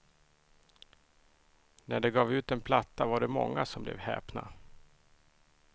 När de gav ut en platta var det många som blev häpna.